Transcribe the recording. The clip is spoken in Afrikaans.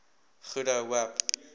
goede hoop